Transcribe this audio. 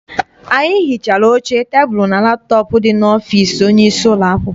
Anyị hichara oche, tebulu and laptọp dị n'ọfịịsi onye isi ụlọakwụkwọ anyị.